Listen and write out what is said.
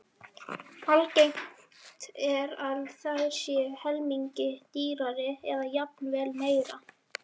Algengt er að þær séu helmingi dýrari eða jafnvel meira.